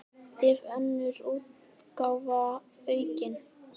Önnur útgáfa aukin.